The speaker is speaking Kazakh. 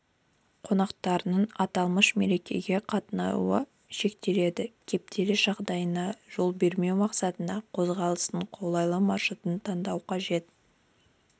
қонақтарының аталмыш мерекеге қатынауы шектеледі кептеліс жағдайларына жол бермеу мақсатында қозғалыстың қолайлы маршрутын таңдау қажет